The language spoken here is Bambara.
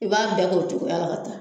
I b'a bɛɛ k'o cogoyala ka taa